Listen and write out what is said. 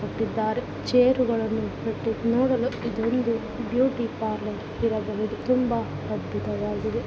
ಇಟ್ಟಿದ್ದಾರೆ ಚೇರುಗಳನ್ನು ಇಟ್ಟು ನೋಡಲು ಇದೊಂದು ಬ್ಯುಟಿ ಪಾರ್ಲರ್ ಇರಬಹುದು ತುಂಬ ಅದ್ಭುತವಾಗಿದೆ .